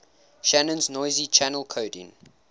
shannon's noisy channel coding